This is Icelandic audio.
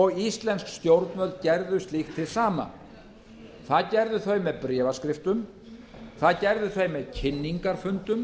og íslensk stjórnvöld gerðu slíkt hið sama það gerðu þau með bréfaskriftum það gerðu þau með kynningarfundum